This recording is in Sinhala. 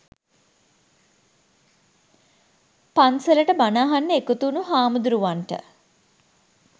පන්සලට බණ අහන්න එකතු වුණු හාමුදුරුවන්ට